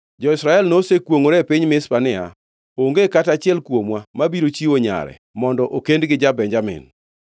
Jo-Israel nosekwongʼore e piny Mizpa niya, “Onge kata achiel kuomwa mabiro chiwo nyare mondo okendi gi ja-Benjamin.”